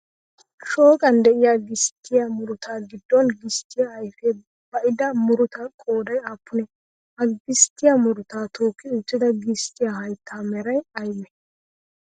Shooqan de'iyaa gisttiyaa muruta giddon gisttiyaa ayfiyaa ba'ida murutaa qoodayi aappunee? Ha gisttiyaa murutaa tookki uttida gisttiyaa hayttaa meray aybee?